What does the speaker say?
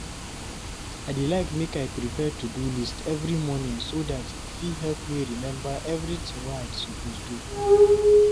I dey like make I prepare to-do list every morning so dat e fit help me remember everything wey I suppose do.